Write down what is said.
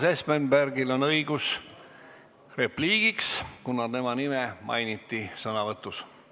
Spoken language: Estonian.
Urmas Espenbergil on õigus repliigiks, kuna tema nime mainiti sõnavõtus.